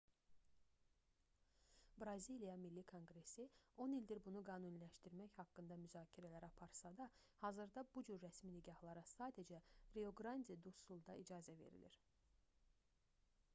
braziliya milli konqresi 10 ildir bunu qanuniləşdirmək haqqında müzakirələr aparsa da hazırda bu cür rəsmi nikahlara sadəcə rio-qrandi-du-sulda icazə verilir